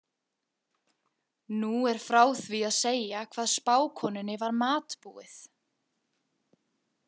Nú er frá því að segja hvað spákonunni var matbúið.